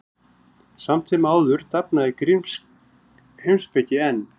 Samt sem áður dafnaði grísk heimspeki enn.